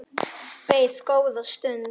Beið góða stund.